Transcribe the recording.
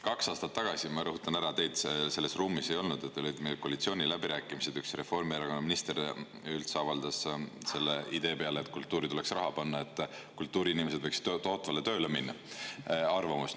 Kaks aastat tagasi – ma rõhutan, et teid siis seal ruumis ei olnud – olid koalitsiooniläbirääkimised, kus üks Reformierakonna minister avaldas selle idee peale, et kultuuri tuleks raha panna, sellist arvamust, et kultuuriinimesed võiksid tootvale tööle minna.